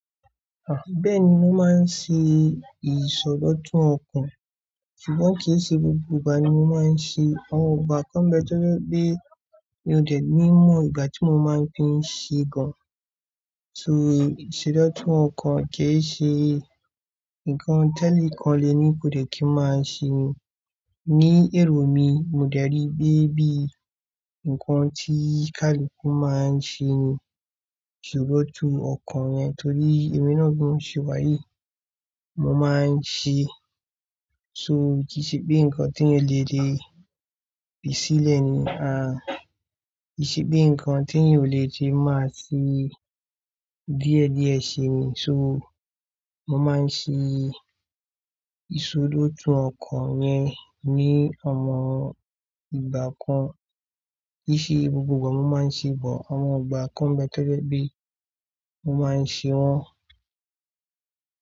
Bẹ́ẹ̀ni, mo máa ń ṣe ìsọdọ̀tun ọkàn ṣùgbọ́n kì í ṣe gbogbo ìgbà ni mo máa ń ṣe, àwọn ìgbà kan bẹ́ẹ̀ tó jẹ́ pé mi ò tẹ̀lẹ́ mọ̀ ìgbà tí mo máa fi ń ṣe gan. So ìsọdọ̀tun ọkàn kì í ṣe nǹkan tẹ́lẹ̀ kan lè ní kò lè kí ń máa ṣe ní èrò mi, mo dárí pé bí nǹkan tí kálùkù máa ń ṣe ni ìsọdọ̀tun ọkàn yẹn torí èmi náà ló ń ṣe wáyé, mo máa ń ṣe, so kì í ṣe bí nǹkan tí yín ò lè lè pèsílẹ̀ ni, à kí ṣe bí nǹkan tí yín ò lè jẹ́ máa ṣí bí ẹ̀dí ẹ ṣe ni, so mo máa ń ṣe ìsọdọ̀tun ọkàn yẹn ní ọ̀mọ̀ràn ìgbà kan kì í ṣe gbogbo ìgbà mo máa ń ṣe bọ̀ àwọn ìgbà kan bẹ́ẹ̀ tó jẹ́ pé mo máa ń ṣe wọ́n.